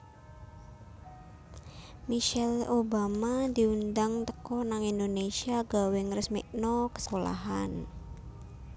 Michelle Obama diundang teko nang Indonesia gawe ngresmikno sekolahan